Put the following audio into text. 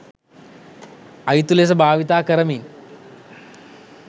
අයුතු ලෙස භාවිතා කරමින්